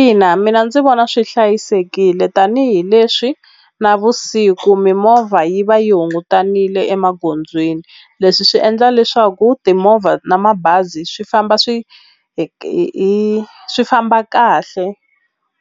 Ina mina ndzi vona swi hlayisekile tanihileswi navusiku mimovha yi va yi hungutanile emagondzweni leswi swi endla leswaku timovha na mabazi swi famba swi hi swi famba kahle